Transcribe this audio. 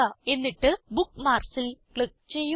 എന്നിട്ട് Bookmarksൽ ക്ലിക്ക് ചെയ്യുക